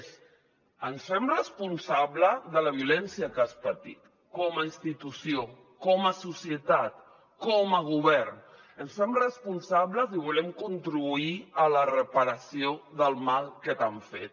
és ens fem responsables de la violència que has patit com a institució com a societat com a govern ens en fem responsables i volem contribuir a la reparació del mal que t’han fet